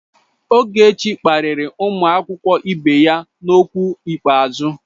Ogechi kparịrị ụmụ akwụkwọ ibe ya n'okwu ikpeazụ.